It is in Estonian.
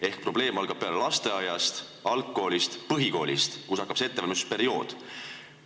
Ehk probleem algab peale lasteaiast, algkoolist, põhikoolist, kus on see ettevalmistusperiood.